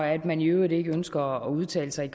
at man i øvrigt ikke ønsker at udtale sig